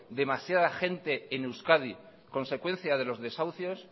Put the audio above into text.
demasiada gente en euskadi consecuencia de los desahucios